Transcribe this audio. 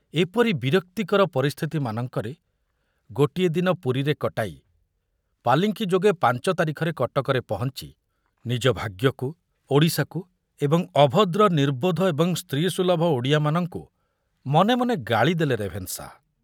ଏପରି ବିରକ୍ତିକର ପରିସ୍ଥିତିମାନଙ୍କରେ ଗୋଟିଏ ଦିନ ପୁରୀରେ କଟାଇ ପାଲିଙ୍କି ଯୋଗେ ପାଞ୍ଚ ତାରିଖରେ କଟକରେ ପହଞ୍ଚି ନିଜ ଭାଗ୍ୟକୁ, ଓଡ଼ିଶାକୁ ଏବଂ ଅଭଦ୍ର ନିର୍ବୋଧ ଏବଂ ସ୍ତ୍ରୀ ସୁଲଭ ଓଡ଼ିଆମାନଙ୍କୁ ମନେ ମନେ ଗାଳି ଦେଲେ ରେଭେନ୍ସା